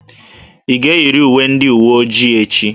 Ị ga-eyiri uwe ndị uwe ojii echi!